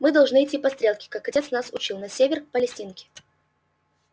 мы должны идти по стрелке как отец нас учил на север к палестинке